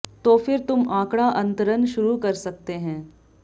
तो फिर तुम आंकड़ा अंतरण शुरू कर सकते हैं